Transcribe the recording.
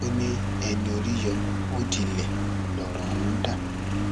o ní ẹni orí yọ ó dilẹ lọrọ ọhún dà